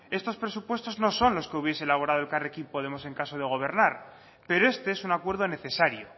estos presupuestos no son los que hubiera elaborado elkarrekin podemos en caso de gobernar pero este es un acuerdo necesario